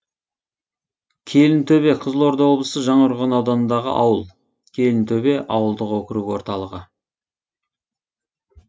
келінтөбе қызылорда облысы жаңақорған ауданындағы ауыл келінтөбе ауылдық округі орталығы